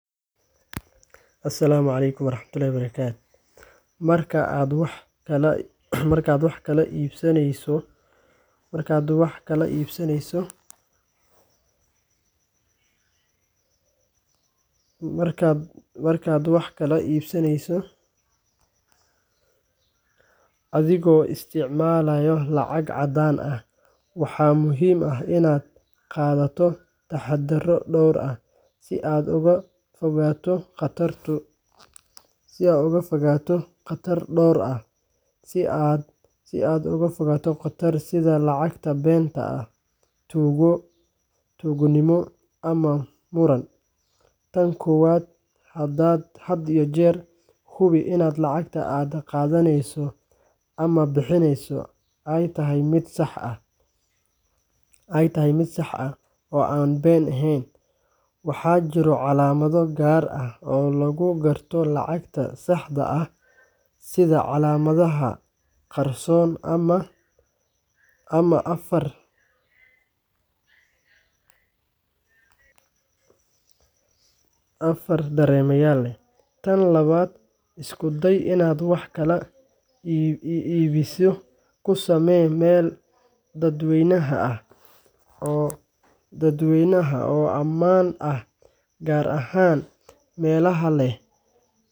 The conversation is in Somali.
Asalaamu calaykum waraxmatullaahi wabarakaatuh. Marka aad wax kala iibsanayso adigoo isticmaalaya lacag caddaan ah, waxaa muhiim ah inaad qaadato taxaddarro dhowr ah si aad uga fogaato khataro sida lacag been ah, tuugo, ama muran. Tan koowaad, had iyo jeer hubi in lacagta aad qaadanayso ama bixinayso ay tahay mid sax ah oo aan been ahayn. Waxaa jiro calaamado gaar ah oo lagu garto lacagta saxda ah sida calaamadaha qarsoon ama far dareemayaal leh. Tan labaad, isku day inaad wax kala iibsiga ku sameyso meel dadweyne ah oo ammaan ah, gaar ahaan meelaha leh kaamirooyin ama goobo suuq ah.